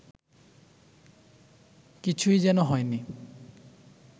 কিছুই যেন হয় নি